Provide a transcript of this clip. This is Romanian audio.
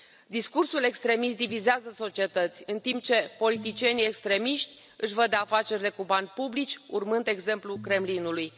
Discursul extremist divizează societăți, în timp ce politicienii extremiști își văd de afacerile cu bani publici, urmând exemplul Kremlinului.